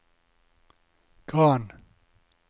Gran